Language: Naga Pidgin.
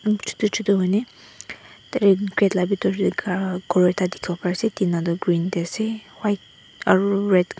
shutu shutu huiney tateh grate lah bitor teh uuh ghor ekta dikhiwo pari ase tina toh green tey ase white aru red --